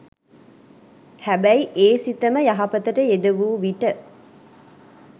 හැබැයි ඒ සිතම යහපතට යෙද වූ විට